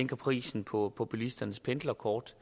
prisen på på bilisternes pendlerkort